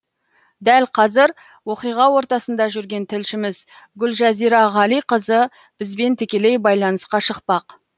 дәл қазір оқиға ортасында жүрген тілшіміз гүлжазира ғалиқызы бізбен тікелей байланысқа шықпақ